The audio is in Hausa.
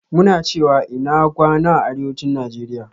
Muna cewa "INA GWANA" a Arewacin Nigeria.